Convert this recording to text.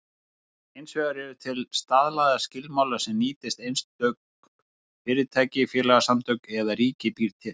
Hins vegar eru til staðlaðir skilmálar sem ýmist einstök fyrirtæki, félagasamtök eða ríkið býr til.